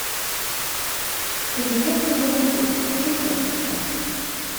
кабинетный гарнитур включай